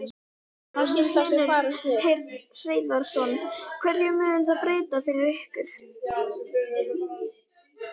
Magnús Hlynur Hreiðarsson: Hverju mun það breyta fyrir ykkur?